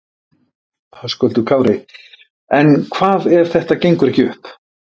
Höskuldur Kári: En hvað ef þetta gengur ekki upp?